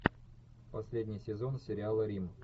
последний сезон сериала рим